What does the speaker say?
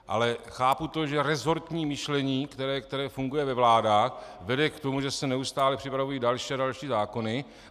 Ale chápu to, že resortní myšlení, které funguje ve vládách, vede k tomu, že se neustále připravují další a další zákony.